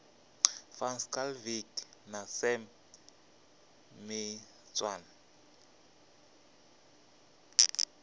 van schalkwyk na sam maitswane